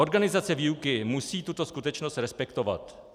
Organizace výuky musí tuto skutečnost respektovat.